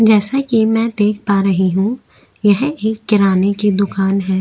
जैसा कि मै देख पा रही हूँ यह एक किराने की दुकान है।